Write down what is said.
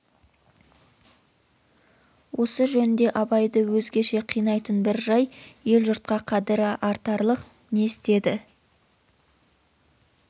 осы жөнде абайды өзгеше қинайтын бір жай ел-жұртқа қадірі артарлық не істеді